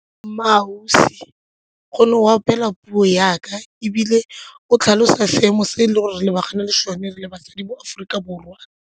MmaAusi gonne o opela puo ya ka ebile o tlhalosa seemo se e le gore re lebagane le sone re le basadi mo Aforika Borwa.